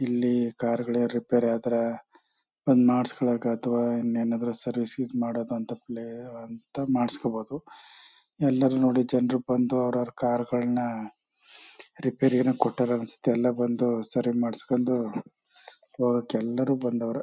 ಇಲ್ಲಿ ಕಾರ್ಗಳ್ ರಿಪೇರಿ ಅದ್ರ ಬಂದ್ ಮಾಡ್ಸ್ಕೊಳಕ್ ಅಥವಾ ಇನ್ನೇನ್ ಆದ್ರೂ ಸರ್ವಿಸ್ ಇದ್ ಮಾಡೋ ಅಂತ ಪ್ಲೇ ಅಂತ ಮಾಡ್ಸ್ಕೊಬೋದು. ಎಲ್ಲರು ನೋಡಿ ಜನರು ಬಂದು ಅವರ್ ಅವರ್ ಕಾರಗಳ್ನ ರೆಪೇರಿಗೇನೋ ಕೊಟ್ಯಾರ ಅನ್ಸತ್ತೆ ಎಲ್ಲ ಬಂದು ಸರಿ ಮಾಡ್ಸ್ಕೊಂಡು ಒಗ್ಯಾಕ್ ಎಲ್ಲರು ಬಂದ್ವರೆ.